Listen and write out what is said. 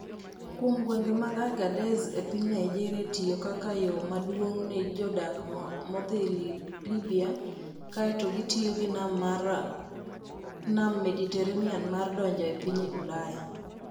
Kuom gwenge mag Agadez e piny Niger tiyo kaka yo maduong' ne jodak modhi Libya kaeto gitiyo gi Nam Mediterranean mar donjo e piny Ulaya.